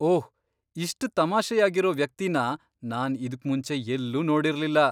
ಓಹ್! ಇಷ್ಟ್ ತಮಾಷೆಯಾಗಿರೋ ವ್ಯಕ್ತಿನ ನಾನ್ ಇದುಕ್ಮುಂಚೆ ಎಲ್ಲೂ ನೋಡಿರ್ಲಿಲ್ಲ!